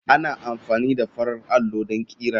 Ana amfani da farar allo don ƙera.